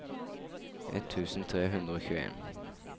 ett tusen tre hundre og tjueen